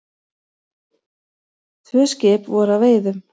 Tvö skip voru að veiðum.